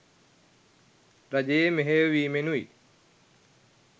රජයේ මෙහෙයවීමෙනුයි.